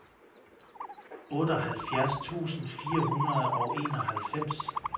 otteoghalvfjerds tusind fire hundrede og enoghalvfems